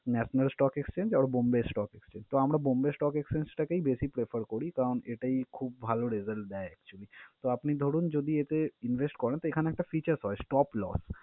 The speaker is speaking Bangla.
National stock exchange or bombay stock exchange । তো আমরা bombay stock exchange টাকেই বেশি prefer করি কারণ এটাই খুব ভাল result দেয় actually । তো, আপনি ধরুন যদি এতে invest করেন তো এখানে একটা features হয় stop loss ।